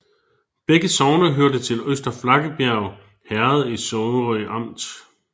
Begge sogne hørte til Øster Flakkebjerg Herred i Sorø Amt